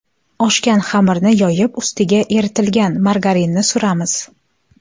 Oshgan xamirni yoyib, ustiga eritilgan margarinni suramiz.